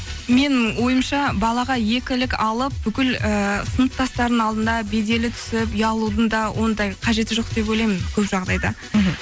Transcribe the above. менің ойымша балаға екілік алып бүкіл ііі сыныптастардың алдында беделі түсіп ұялудың да ондай қажеті жоқ деп ойлаймын көп жағдайда мхм